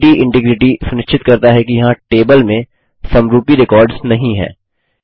entity integrity सुनिश्चित करता है कि यहाँ टेबल में समरूपी रेकॉर्ड्स नहीं हैं